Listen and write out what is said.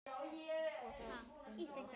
Og það skynji okkur.